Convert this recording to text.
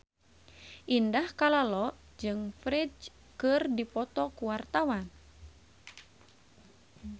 Indah Kalalo jeung Ferdge keur dipoto ku wartawan